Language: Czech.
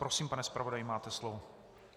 Prosím, pane zpravodaji, máte slovo.